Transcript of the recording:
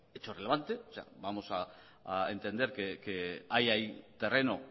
hecho relevante o sea vamos a entender que hay ahí terreno